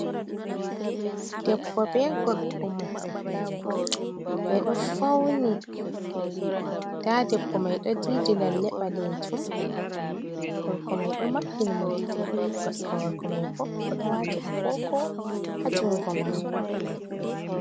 Debbo bee gorko mu'um ɓe ɗo fawni ndaa debbo mai ɗo diidi lalle ɓaleejum, gorko mai ɗo maɓɓi ni mo gite kosɗe gorko mai boo, o ɗo waati agoogo haa junngo makko.